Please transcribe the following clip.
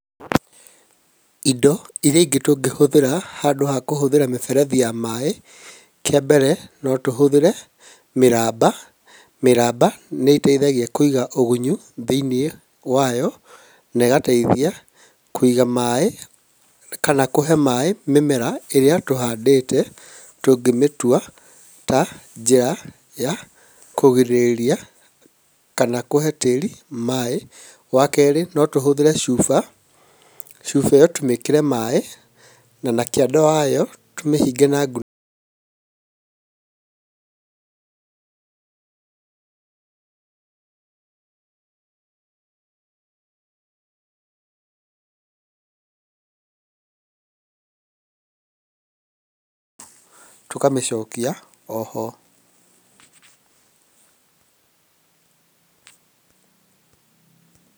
Indo irĩa ingĩ tũngĩhũthĩra handũ hakũhũthĩra mĩberethi ya maĩ, kĩambere no tũhũthĩre mĩramba mĩramba nĩteithagia kũiga ũgunyu thĩiniĩ wayo naĩgateithia kũiga maĩ kana kũhe maĩ mĩmera ĩrĩa tũhandĩte tũngĩmĩtua ta njĩra ya kũgirĩrĩria kana kũhe tĩri maĩ. Wakere notũhũthĩre cuba, cuba ĩo no tũmĩkĩre maĩ nanakĩanda wao tũmĩhinge na ngunĩko .